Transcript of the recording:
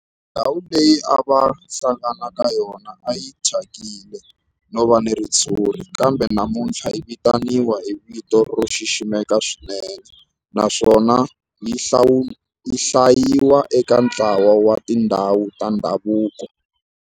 Ndhawu leyi a va hlangana ka yona a yi thyakile no va na ritshuri kambe namuntlha yi vitaniwa hi vito ro xiximeka swinene naswona yi hlayiwa eka ntlawa wa tindhawu ta ndhavuko.